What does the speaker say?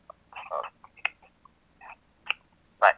Okay bye .